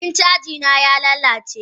Abun cajina y lalace.